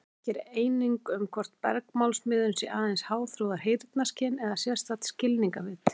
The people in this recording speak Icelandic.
Ekki er eining um hvort bergmálsmiðun sé aðeins háþróað heyrnarskyn eða sérstakt skilningarvit.